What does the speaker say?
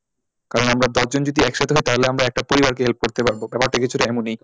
কারণ আমরা দশজন যদি একসাথে হয় তাহলে আমরা একটা পরিবারকে help করতে পারবো ব্যাপারটা কিছুটা এমনি।